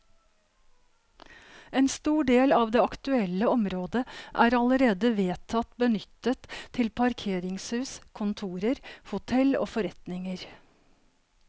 En stor del av det aktuelle området er allerede vedtatt benyttet til parkeringshus, kontorer, hotell og forretninger.